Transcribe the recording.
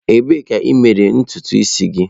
Ebee ka i mere ntutu isi gị?